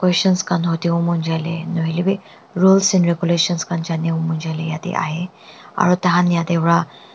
sans kano deomonzoli no hoi le bi rules and regulations eyate ahe aru tanha yate ba--